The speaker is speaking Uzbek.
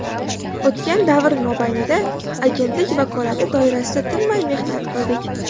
O‘tgan davr mobaynida Agentlik vakolati doirasida tinmay mehnat qildik.